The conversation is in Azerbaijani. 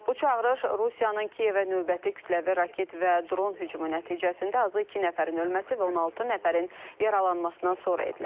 Bu çağırış Rusiyanın Kiyevə növbəti kütləvi raket və dron hücumu nəticəsində azı iki nəfərin ölməsi və 16 nəfərin yaralanmasından sonra edilib.